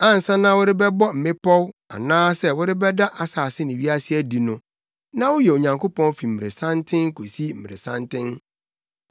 Ansa na wɔrebɛbɔ mmepɔw anaasɛ worebɛda asase ne wiase adi no, na woyɛ Onyankopɔn fi mmeresanten kosi mmeresanten.